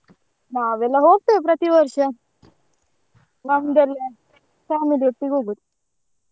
ನಾವೆಲ್ಲ ಹೋಗ್ತೆವೆ ಪ್ರತಿ ವರ್ಷ family ಒಟ್ಟಿಗೆ ಹೋಗುದು.